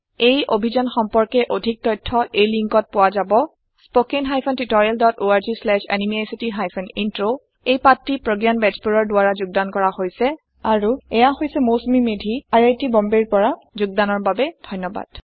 এই অভিযান সম্পৰ্কে অধিক তথ্য এই লিংকত পোৱা যাব spoken hyphen tutorial dot org slash এনএমইআইচিত হাইফেন ইন্ট্ৰ এই পাঠ টি প্ৰগয়ান বেজবৰুৱাৰ দ্ৱাৰা কৰা হৈছে আই আই টী বম্বে ৰ পৰা মই মৌচুমী মেধী এতিয়া আপুনাৰ পৰা বিদায় লৈছো যোগদানৰ বাবে ধন্যবাদ